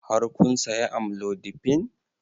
Har kun saya amlodipine?